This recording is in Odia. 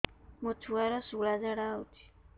ମୋ ଛୁଆର ସୁଳା ଝାଡ଼ା ହଉଚି